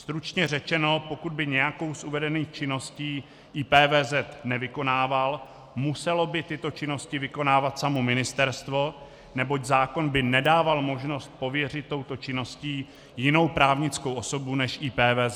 Stručně řečeno, pokud by nějakou z uvedených činností IPVZ nevykonával, muselo by tyto činnosti vykonávat samo ministerstvo, neboť zákon by nedával možnost pověřit touto činností jinou právnickou osobu než IPVZ.